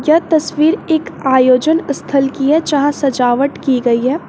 यह तस्वीर एक आयोजन स्थल कि है जहां सजावट की गई है।